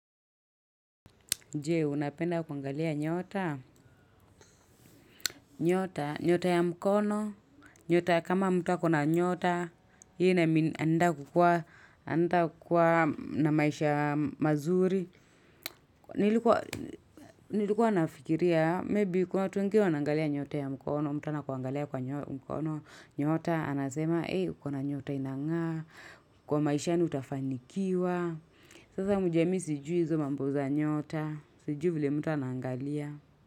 Je, unapenda kuangalia nyota, nyota, nyota ya mkono, nyota kama mtu kama ako na nyota, hii anaenda kukua na maisha mazuri. Nilikuwa nafikiria, maybe kuna watu wengine wana angalia nyota ya mkono, mtu anakuangalia kwa nyota, nyota, anasema, hey, kuna nyota inangaa, kwa maishani utafanikiwa. Sasa mjue mi sijui izo mambo za nyota, sijui vile mtu anangalia.